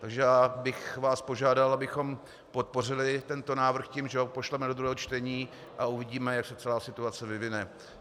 Takže já bych vás požádal, abychom podpořili tento návrh tím, že ho pošleme do druhého čtení, a uvidíme, jak se celá situace vyvine.